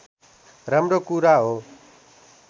राम्रो कुरा हो